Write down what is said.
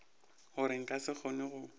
gore nka se kgone go